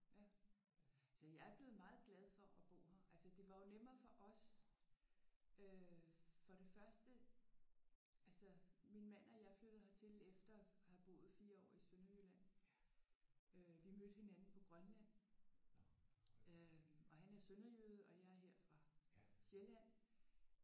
Ja. Altså jeg er blevet meget glad for at bo her. Altså det var jo nemmere for os. Øh for det første altså min mand og jeg er flyttet hertil efter at have boet 4 år i Sønderjylland. Øh vi mødte hinanden på Grønland. Og han er sønderjyde og jeg er her fra Sjælland